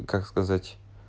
как сказать